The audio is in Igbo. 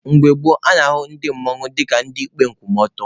Mgbe gboo, a na-ahụ otu mmanwụ ka ndị ikpe nkwụmọtọ.